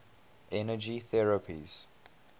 energy therapies